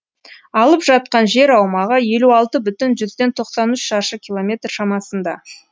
алып жатқан жер аумағы елу алты бүтін тоқсан үш шаршы километр шамасында